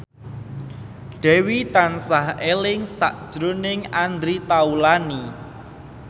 Dewi tansah eling sakjroning Andre Taulany